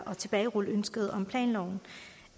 planloven